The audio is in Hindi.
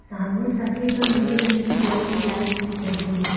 सामने सफेद और नीले रंग की बड़ी स्लाइड देख रही है।